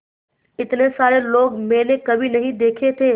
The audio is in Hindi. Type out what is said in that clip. इतने सारे लोग मैंने कभी नहीं देखे थे